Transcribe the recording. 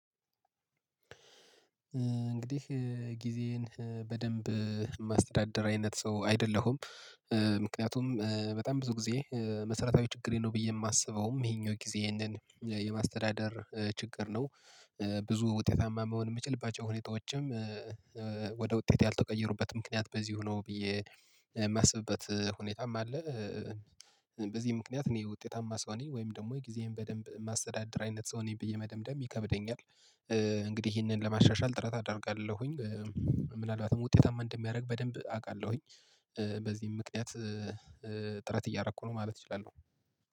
እንግዲህ ጊዜዬን በደንብ የማስተዳደር አይነት ሰው አይደለሁም። ምክንያቱም በጣም ብዙ ጊዜ መሰረታዊ ችግሬ ነው ብዬ የማስበውም ይሄኛው ጊዜ ይሄንን የማስተዳደር ችግር ነው። ብዙ ውጤታማ መሆን የምችልባቸው ሁኔታዎችም ወደ ውጤት ያልተቀየሩበት ምክንያት በዚሁ ነው ብዬ የማስብበት ሁኔታም አለ። በዚህ ምክንያት እኔ ውጤታማ ሰው ነኝ ወይም ደግሞ የጊዜዬን በደንብ ማስተዳደር አይነት ሰው ነኝ ብዬ መደምደም ይከብደኛል። እንግዲህ ይህንን ለማሻሻል ጥረት አደርጋለሁኝ። ምናልባትም ውጤታማ እንደሚያደርግ በደንብ አውቃለሁኝ። በዚህም ምክንያት ጥረት እያረኩ ነው ማለት እችላለሁ